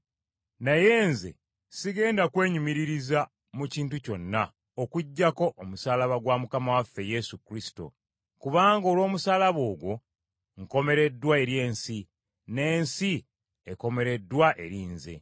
Naye nze sigenda kwenyumiririza mu kintu kyonna okuggyako omusaalaba gwa Mukama waffe Yesu Kristo, kubanga olw’omusaalaba ogwo, nkomereddwa eri ensi, n’ensi ekomereddwa eri nze.